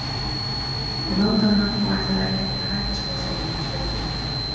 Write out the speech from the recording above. Ég mátaði hann og ætlaði ekki að geta hætt að skoða sjálfa mig í speglinum.